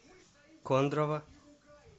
кондрово